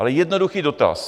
Ale jednoduchý dotaz.